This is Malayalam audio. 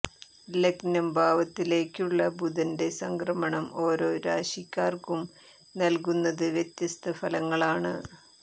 ലഗ്നം ഭാവത്തിലേക്കുള്ള ബുധന്റെ സംക്രമണം ഓരോ രാശിക്കാര്ക്കും നല്കുന്നത് വ്യത്യസ്ത ഫലങ്ങളാണ്